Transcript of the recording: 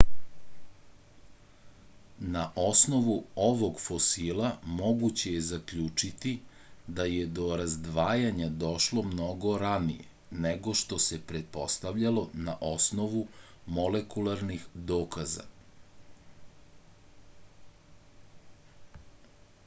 na osnovu ovog fosila moguće je zaključiti da je do razdvajanja došlo mnogo ranije nego što se pretpostavljalo na osnovu molekularnih dokaza